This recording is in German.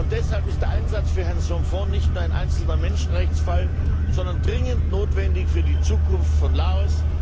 Deshalb ist der Einsatz für Herrn Somphone nicht nur ein einzelner Menschenrechtsfall, sondern dringend notwendig für die Zukunft von Laos.